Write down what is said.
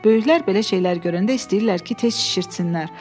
Böyüklər belə şeylər görəndə istəyirlər ki, tez şişirtsinlər.